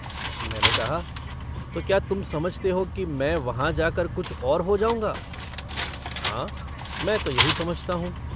मैंने कहा - तो क्या तुम समझते हो कि मैं वहाँ जाकर कुछ और हो जाऊँगा? हाँ मैं तो यही समझता हूँ।